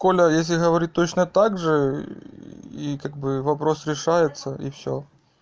коля если говорить точно также и как бы вопрос решается и всё